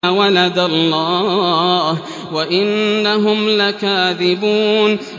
وَلَدَ اللَّهُ وَإِنَّهُمْ لَكَاذِبُونَ